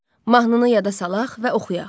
Mahnını yada salaq və oxuyaq.